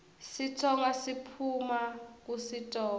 sitsonga siphuuma kusitonga